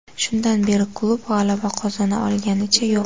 Shundan beri klub g‘alaba qozona olganicha yo‘q.